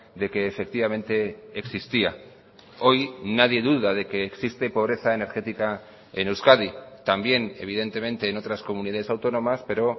de que efectivamente existía hoy nadie duda de que existe pobreza energética en euskadi también evidentemente en otras comunidades autónomas pero